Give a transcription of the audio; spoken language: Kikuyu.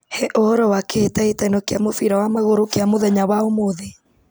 he ũhoro wa kĩhĩtahĩtano kĩa mũbira wa magũrũ kĩa mũthenya wa ũmũthĩ